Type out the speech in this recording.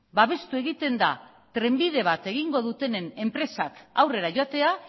babestu egiten da trenbide bat egingo dutenen enpresak aurrera joatea